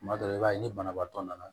Tuma dɔ la i b'a ye ni banabaatɔ nana